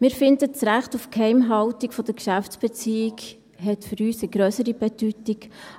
Wir finden, das Recht auf Geheimhaltung der Geschäftsbeziehung hat eine grössere Bedeutung,